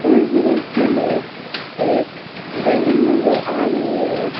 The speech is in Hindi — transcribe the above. इस दृश्य में एक बिल्डिंग नजर आ रही है।